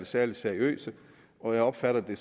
særlig seriøse og jeg opfatter det